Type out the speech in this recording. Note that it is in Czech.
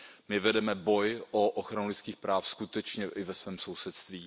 My vedeme boj o ochranu lidských práv skutečně i ve svém sousedství.